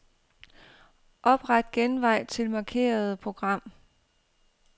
Opret genvej til markerede program.